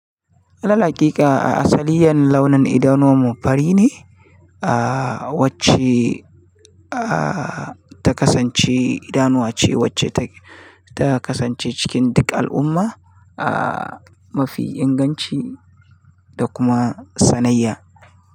Lalle haƙiƙa a asaliyan launin idanuwan mu fari ne, ah wacce ah ta kasance idanuwa ce wacce ta, ta kasance cikin duk al'umma, ah mafi inganci da kuma sanayya.